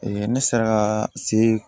ne sera ka se